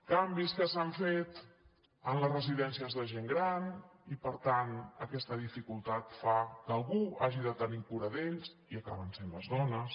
canvis que s’han fet en les residències de gent gran i per tant aquesta dificultat fa que algú hagi de tenir cura d’ells i acaben sent les dones